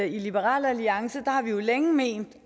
i liberal alliance har vi jo længe ment